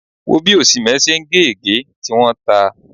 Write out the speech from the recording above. Wò ó bí Osimhen ṣe ń gé ègé, tí wọ́n ta!